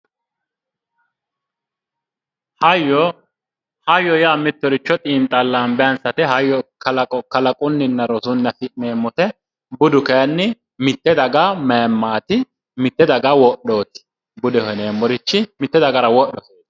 Hayyo hayyo yaa mittoricho xiinxallambe anfate hayyo kalaqunninna rosunni afi'neemmote budu kayinni mitte daga mayimmaati mitte daga wodhooti budeho yineemmorichi mitte dagara wodhote